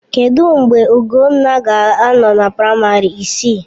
Kedụ mgbe Ugonna ga-anọ na praịmarị isii?